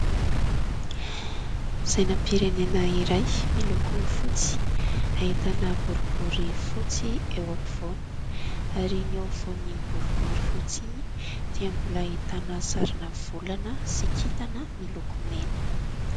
Sainam-pirenena iray miloko fotsy, ahitana boribory fotsy eo ampovoany ary ny eo afovoan'iny boribory fotsy iny dia mbola ahitana sarina volana sy kintana miloko mena.